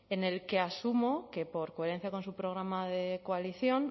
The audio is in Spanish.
en el que asumo que por coherencia con su programa de coalición